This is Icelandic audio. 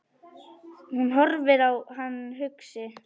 Hún horfir á hann hugsi.